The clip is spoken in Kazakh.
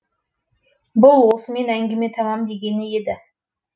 бұл осымен әңгіме тамам дегені еді